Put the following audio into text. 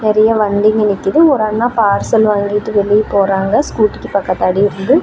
நறைய வண்டிங்க நிக்குது ஒரு அண்ணா பார்சல் வாங்கிட்டு வெளியே போறாருங்க ஸ்கூட்டிக்கு பக்கத்தாடி இருந்து.